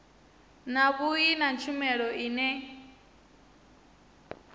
na vhui na tshumelo ine